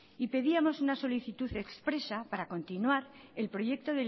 y pedíamos una solicitud expresa para continuar el proyecto